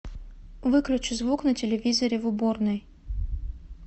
выключи звук на телевизоре в уборной